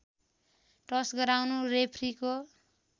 टस् गराउनु रेफ्रीको